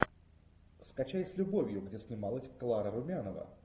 скачай с любовью где снималась клара румянова